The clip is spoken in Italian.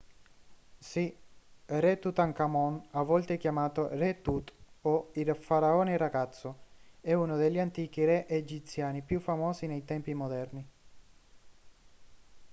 sì re tutankhamon a volte chiamato re tut o il faraone ragazzo è uno degli antichi re egiziani più famosi nei tempi moderni